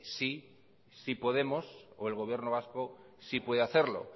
sí podemos o el gobierno vasco sí puede hacerlo